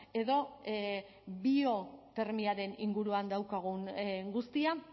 edo biotermiaren inguruan daukagun guztia